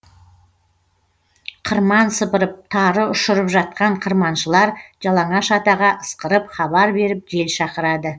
қырман сыпырып тары ұшырып жатқан қырманшылар жалаңаш атаға ысқырып хабар беріп жел шақырады